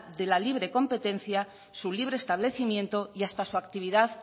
de la libre competencia su libre establecimiento y hasta su actividad